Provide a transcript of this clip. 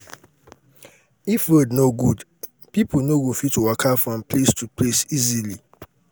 if road no good people no go fit waka from place to place easily